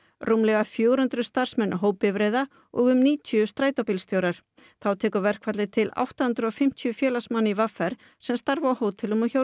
rúmlega fjögur hundruð starfsmenn hópbifreiða og um níutíu strætóstjórar þá tekur verkfallið til átta hundruð og fimmtíu félagsmanna í v r sem starfa á hótelum og hjá